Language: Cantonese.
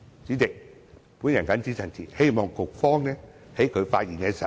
主席，我謹此陳辭，希望局方可以在發言時解釋清楚。